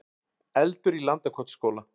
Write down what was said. Eldur í Landakotsskóla